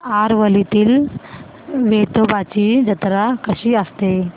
आरवलीतील वेतोबाची जत्रा कशी असते